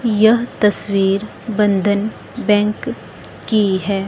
यह तस्वीर बंधन बैंक की है।